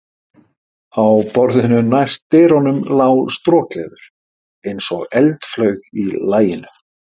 Á borðinu næst dyrunum lá strokleður, eins og eldflaug í laginu.